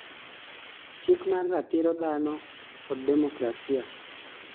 chik mar ratiro dhano kod demokrasia